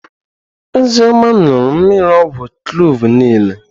Ozioma ñuru mmiri ogwu kloovu niile.